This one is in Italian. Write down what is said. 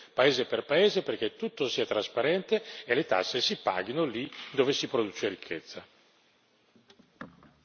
Abbiamo bisogno di una rendicontazione, paese per paese, perché tutto sia trasparente e le tasse si paghino lì dove si produce ricchezza.